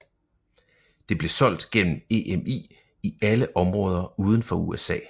Det blev solgt gennem EMI i alle områder uden for USA